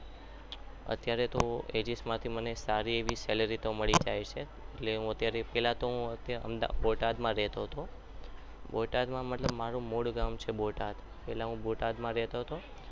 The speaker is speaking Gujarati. અત્યારે તો એચએસ માંથી મને સારી એવી salary મળી જાય છે અત્યારે એટલે કે હું પહેલા બોટાદમાં રહેતો હતો મતલબ મારું મૂળ ગામ બોટાદ છે પહેલા હું બોટાદમાં રહેતો હતો.